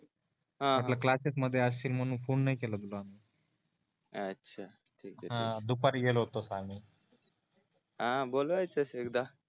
हा हा क्लास्सेस मध्ये असशील म्हणून फोने नाही केला तुला आम्ही अ अ अच्छा ठीक आहे ठीक आहे हा दुपारी गेलो होतो आम्ही अह बोलवायचं एकदा